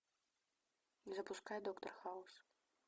запускай доктор хаус